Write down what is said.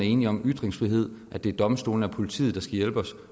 enige om ytringsfrihed at det er domstolene og politiet der skal hjælpe os